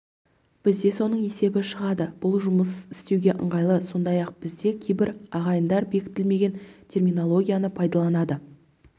бізде соның есебі шығады бұл жұмыс істеуге ыңғайлы сондай-ақ бізде кейбір ағайындар бекітілмеген терминологияны пайданаланады